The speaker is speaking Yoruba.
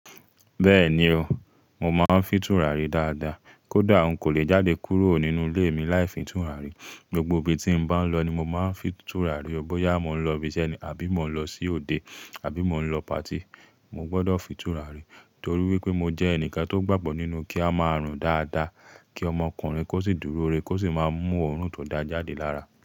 Bẹ́ẹ̀ni o, mo máa ń fìtúràrí dáadáa. Kódà n kò lè jáde kúrò nínú ilé mi láì fìtúràrí. Gbogbo ibi tí n bá ń lọ ni mo máa ń fìtúràrí. Bóyá mo ń lọ ibi iṣẹ́ ni, àbí mo ń lọ sí òde, àbí mo ń lọ patí, mo gbọdọ̀ fìtúràrí torí wípé mo jẹ́ ẹnìkan tó gbàgbọ́ nínú kí a máa rùn dáadáa, kí ọmọkùnrin kó sì dúró rẹ̀ kó sì máa mú òórùn tó dá jáde lára.